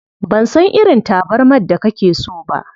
Ban san irin tabarmar da kake so ba.